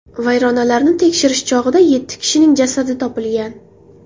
Vayronalarni tekshirish chog‘ida yetti kishining jasadi topilgan.